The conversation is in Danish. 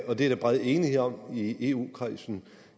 er der bred enighed om i eu kredsen